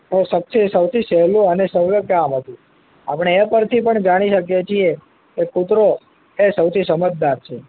તો સત્ય સૌથી સહેલું અને સુલભ કામ હતું આપડે એ પર થી પણ જાણી શકીએ છીએ કે કુતરો એ સૌથી સમજદાર છે